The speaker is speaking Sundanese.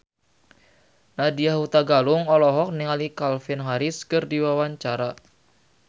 Nadya Hutagalung olohok ningali Calvin Harris keur diwawancara